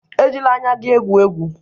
Ejila anya gị egwu egwu!